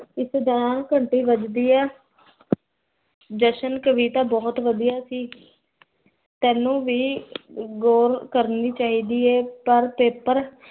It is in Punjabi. ਇਸ ਦੁਰਾਨ ਘੰਟੀ ਵਜਦੀ ਹੈ ਜਸ਼ਨ ਕਵਿਤਾ ਬੋਹੋਤ ਵਦੀਆ ਸੀ ਤੇਨੁ ਵੀ ਗੌਰ ਕਰਨੀ ਚਾਹਦੀ ਹੈ ਪਰ paper